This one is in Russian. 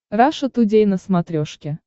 раша тудей на смотрешке